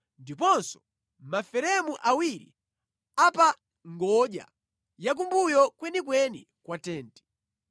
ndiponso maferemu awiri a pa ngodya yakumbuyo kwenikweni kwa tenti.